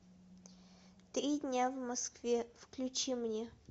три дня в москве включи мне